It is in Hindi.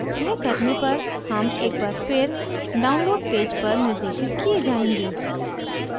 यह करने पर हम एक बार फिर download पेज पर निर्देशित किये जायेंगे